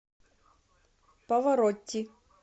паваротти